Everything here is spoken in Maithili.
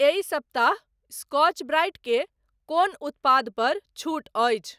एहि सप्ताह स्कॉच ब्राइट के कोन उत्पाद पर छूट अछि?